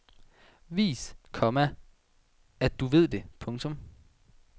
Vis, komma at du ved det. punktum